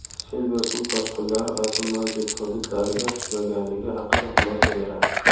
sel va suv toshqinlari xavfi mavjud) hududlariga tushmaganligi haqida xulosa beradi.